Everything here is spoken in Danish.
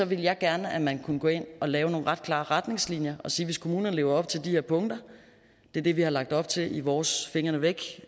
ville jeg gerne at man kunne gå ind og lave nogle ret klare retningslinjer og sige at hvis kommunerne lever op til de her punkter det er det vi har lagt op til i vores fingrene væk